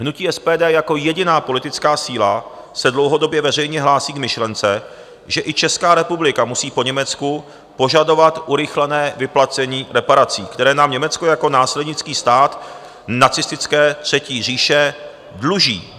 Hnutí SPD jako jediná politická síla se dlouhodobě veřejně hlásí k myšlence, že i Česká republika musí po Německu požadovat urychlené vyplacení reparací, které nám Německo jako následnický stát nacistické Třetí říše dluží.